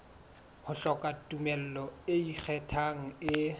hloka tumello e ikgethang e